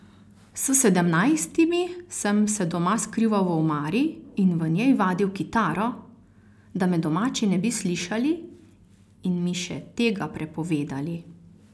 S sedemnajstimi sem se doma skrival v omari in v njej vadil kitaro, da me domači ne bi slišali in mi še tega prepovedali.